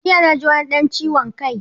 Jiya naji wani ɗan ciwon kai.